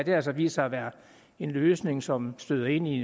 altså vist sig være en løsning som støder ind i